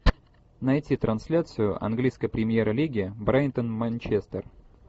найти трансляцию английской премьер лиги брайтон манчестер